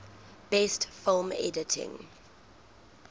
best film editing